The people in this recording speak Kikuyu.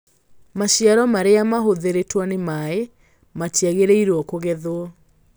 Maciaro marĩa mahũthĩrĩtwo nĩ maĩ matiagĩrĩirũo kũgethwo